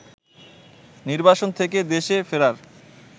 নির্বাসন থেকে দেশে ফেরার